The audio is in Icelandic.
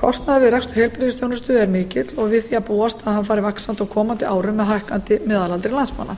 kostnaður við rekstur heilbrigðisþjónustu er mikill og við því að búast að hann fari vaxandi á komandi árum með hækkandi meðalaldri landsmanna